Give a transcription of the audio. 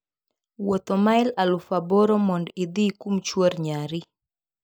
Wuotho mael aluf aboro mondo idhi kum chuor nyari.